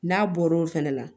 N'a bɔr'o fɛnɛ na